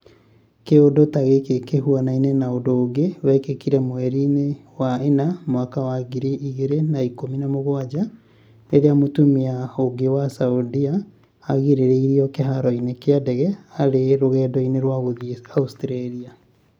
Kiũndũ ta gĩkĩ kĩhuanaine na ũndũ ũngĩ wekĩkire mweriinĩ wa Ĩna mwaka wangiri igĩrĩ na ikumi na mũgwanja rĩrĩa mũtumia ũngĩ wa Saudia agirĩrĩirion kĩharoinĩ kĩa ndege arĩ rũgendo-inĩ rwa gũthiĩ Australia".